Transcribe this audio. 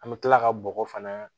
An bɛ tila ka bɔgɔ fana